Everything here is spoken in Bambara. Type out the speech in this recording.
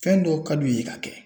Fɛn dɔw ka d'u ye k'a kɛ